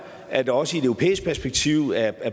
at der også i et europæisk perspektiv er